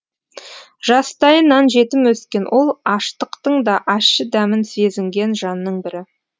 жастайынан жетім өскен ол аштықтың да ащы дәмін сезінген жанның бірі